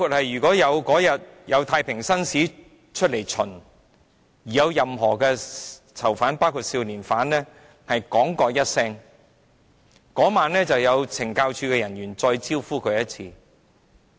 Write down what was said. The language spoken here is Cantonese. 如果有任何囚犯在太平紳士探訪囚犯當天說一句，當晚便會有懲教署人員"招呼"他。